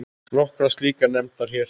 Nokkrar slíkar nefndar hér